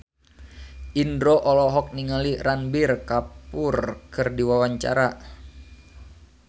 Indro olohok ningali Ranbir Kapoor keur diwawancara